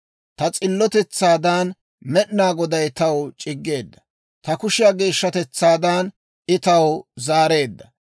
Ta s'illotetsaadan Med'inaa Goday taw c'iggeedda; ta kushiyaa geeshshatetsaadan I taw zaareedda.